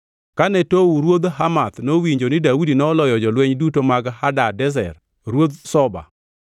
Kane Tou ruodh Hamath nowinjo ni Daudi noloyo jolweny duto mag Hadadezer ruodh Zoba,